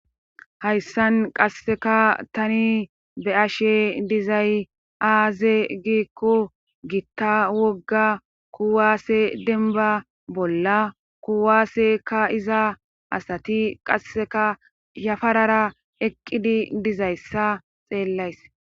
Hayssan qasseka tani be7ashe dizay aaze giikku gitta wogga kuwaase denba bolla kuwaase kaa7iza asati qasseka yafarara eqqidi dizayssa xeellays